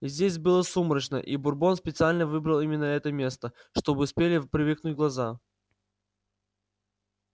здесь было сумрачно и бурбон специально выбрал именно это место чтобы успели привыкнуть глаза